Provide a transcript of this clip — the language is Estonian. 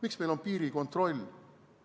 Miks meil on piirikontroll?